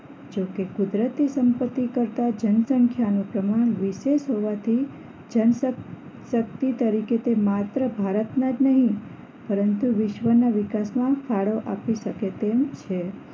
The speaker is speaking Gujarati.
જોકે કુદરતી સંપત્તિ કરતા જનસંખ્યા નું પ્રમાણ વિશે હોવાથી જનશક શક્તિ તરીકે તે માત્ર ભારતના જ નહીં પરંતુ વિશ્વના વિકાસમાં ફાળો આપી શકે તેમ છે